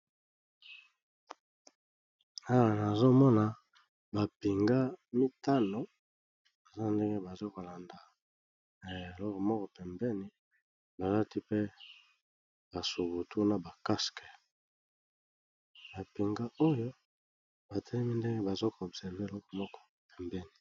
Awa nazomona bapinga mitano baza ndenge bazokolanda na eloko moko pembeni, balati pe basubutu na bacaske, bapinga oyo batelemi ndenge bazoko observe eloko moko pembeni.